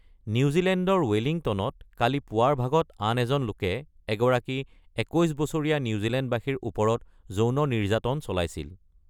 নিউজিলেণ্ডৰ ৱেলিংটনত কালি পুৱাৰ ভাগত আন এজন লোকে এগৰাকী ২১ বছৰীয়া নিউজিলেণ্ডবাসীৰ ওপৰত যৌন নিৰ্যাতন চলাইছিল।